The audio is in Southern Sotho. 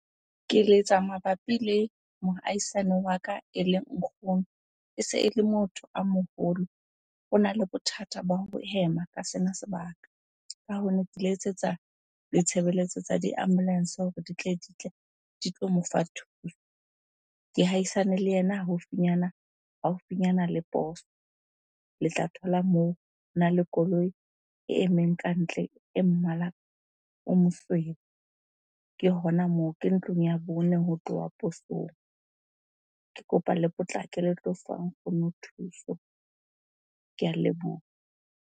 Ke letsa mabapi le mohaisane wa ka, eleng nkgono. E se ele motho a moholo, ona le bothata ba ho hema ka sena sebaka. Ka hoo, ne ke letsetsa ditshebeletso tsa di-ambulance hore di tle di tlo mofa thuso. Ke haisane le yena haufinyana, haufinyana le poso. Le tla thola moo, hona le koloi e emeng kantle e mmala o mosweu. Ke hona moo, ke ntlong ya bone ho tloha posong.Ke kopa le potlake le tlo fa nkgono thuso. Ke a leboha.